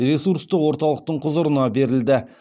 ресурстық орталықтың құзырына берілді